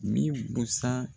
Min busan